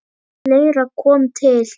Fleira kom til.